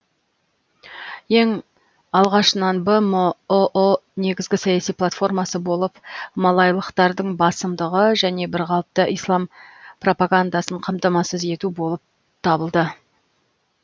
ең алғашынан бмұұ негізгі саяси платформасы болып малайлықтардың басымдығы және бір қалыпты ислам пропагандасын қамтамасыз ету болып табылды